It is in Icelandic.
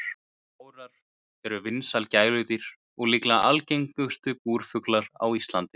Gárar eru vinsæl gæludýr og líklega algengustu búrfuglar á Íslandi.